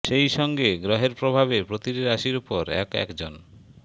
সেই সঙ্গে গ্রহের প্রভাবে প্রতিটি রাশির উপর এক এক জন